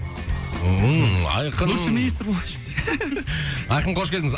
ммм айқын в общем министр айқын қош келдіңіз